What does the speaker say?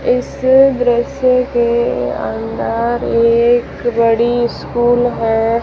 इस दृश्य के अंदर एक बड़ी स्कूल है।